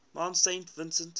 mount saint vincent